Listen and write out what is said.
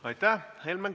Aitäh!